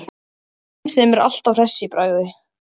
Hann sem er alltaf hress í bragði.